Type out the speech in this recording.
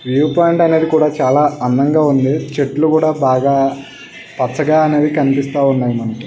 చాలా అందంగా ఉంది. చెట్లు కూడా బాగా పచ్చగా అనేవి కనిపిస్తా ఉన్నాయ్ మనకి.